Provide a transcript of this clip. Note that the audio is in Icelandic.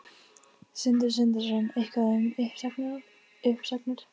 Sindri Sindrason: Eitthvað um uppsagnir?